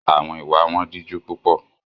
Àwọn ìwà wọn díjú púpọ̀.